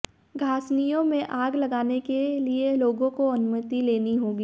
घासनियों में आग लगाने के लिए लोगों को अनुमति लेनी होगी